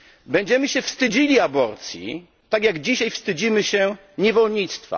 Będziemy się wstydzili aborcji, tak jak dzisiaj wstydzimy się niewolnictwa.